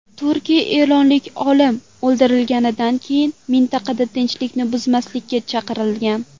Turkiya eronlik olim o‘ldirilganidan keyin mintaqada tinchlikni buzmaslikka chaqirgan .